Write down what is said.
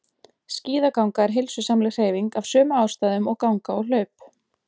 Skíðaganga er heilsusamleg hreyfing af sömu ástæðum og ganga og hlaup.